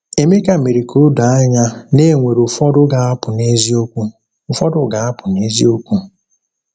Emeka mere ka o doo anya na e nwere ụfọdụ ga-apụ n’eziokwu. ụfọdụ ga-apụ n’eziokwu.